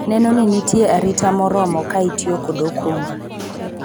neno ni nitie arita moromo ka itiyo kod okumba